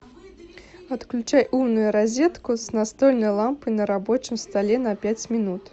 отключай умную розетку с настольной лампой на рабочем столе на пять минут